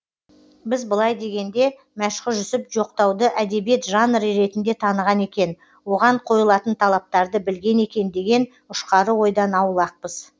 біз былай дегенде мәшһүр жүсіп жоқтауды әдебиет жанры ретінде таныған екен оған қойылатын талаптарды білген екен деген ұшқары ойдан аулақпыз